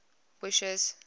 wishes